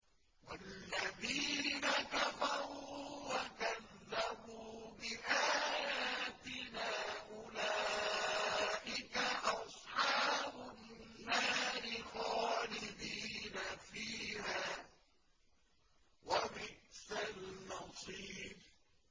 وَالَّذِينَ كَفَرُوا وَكَذَّبُوا بِآيَاتِنَا أُولَٰئِكَ أَصْحَابُ النَّارِ خَالِدِينَ فِيهَا ۖ وَبِئْسَ الْمَصِيرُ